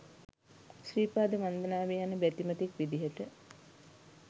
ශ්‍රී පාද වන්දනාවේ යන බැතිමතෙක් විදිහට